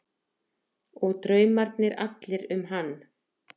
Og draumarnir allir um hann.